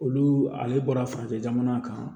Olu ale bɔra fanfɛ jamana kan